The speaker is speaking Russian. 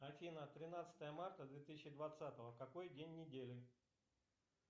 афина тринадцатое марта две тысячи двадцатого какой день недели